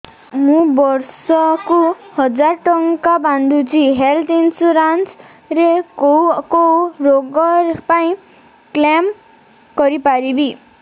ମୁଁ ବର୍ଷ କୁ ହଜାର ଟଙ୍କା ବାନ୍ଧୁଛି ହେଲ୍ଥ ଇନ୍ସୁରାନ୍ସ ରେ କୋଉ କୋଉ ରୋଗ ପାଇଁ କ୍ଳେମ କରିପାରିବି